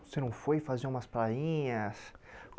Você não foi fazer umas prainhas?